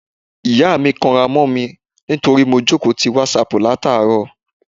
Ìyá mi kanra mó mi nítorí mo jókòó ti WhatsApp láti àárọ̀.